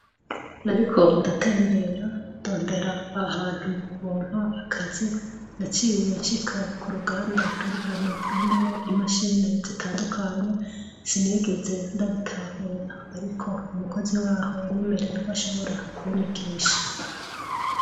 Nariko ndatembere ndondera ahantu nobona akazi naciye nshika kuruganda ruri rwimachine zitandukanye sinigeze ndabitahura umukozi waho yaciye anyemerera ko ashobora kunyigisha.